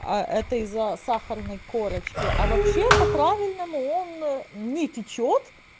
а это из-за сахарной корочки а вообще по правильному он не течёт